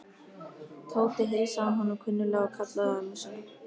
Tóti heilsaði honum kunnuglega og kallaði á ömmu sína.